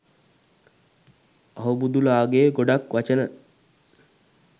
අහුබුදු ලා ගේ ගොඩක් වචන